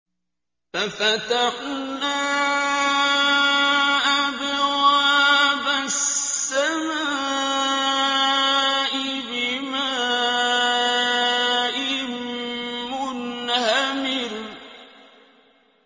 فَفَتَحْنَا أَبْوَابَ السَّمَاءِ بِمَاءٍ مُّنْهَمِرٍ